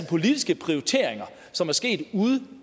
politiske prioriteringer som er sket ude